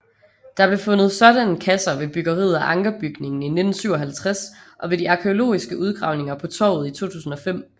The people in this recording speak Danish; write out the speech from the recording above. Der blev fundet sådanne kasser ved byggeriet af Ankerbygningen i 1957 og ved de arkæologiske udgravninger på torvet i 2005